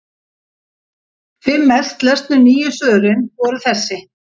Fimm mest lesnu nýju svörin voru þessi: